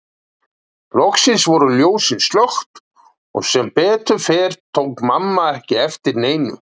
Loks voru ljósin slökkt og sem betur fór tók mamma ekki eftir neinu.